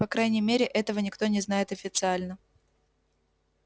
по крайней мере этого никто не знает официально